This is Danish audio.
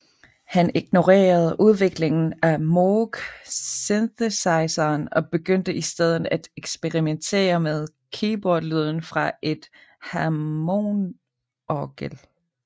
Han ignorerede udviklingen af Moog synthesizeren og begyndte i stedet at eksperimentere med keyboardlyden fra et hammondorgel